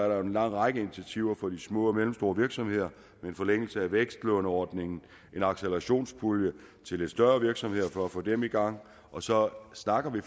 er en lang række initiativer for de små og mellemstore virksomheder en forlængelse af vækstlånordningen en accelerationspulje til lidt større virksomheder for at få dem i gang og så snakker vi